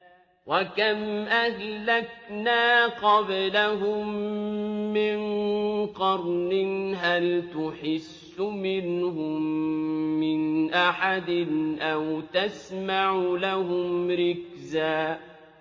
وَكَمْ أَهْلَكْنَا قَبْلَهُم مِّن قَرْنٍ هَلْ تُحِسُّ مِنْهُم مِّنْ أَحَدٍ أَوْ تَسْمَعُ لَهُمْ رِكْزًا